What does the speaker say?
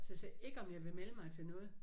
Så jeg sagde ikke om jeg vil melde mig til noget